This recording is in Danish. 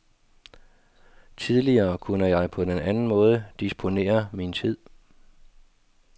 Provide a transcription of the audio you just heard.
Tidligere kunne jeg på en anden måde disponere min tid.